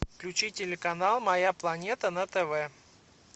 включи телеканал моя планета на тв